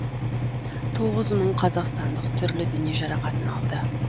тоғыз мың қазақстандық түрлі дене жарақатын алды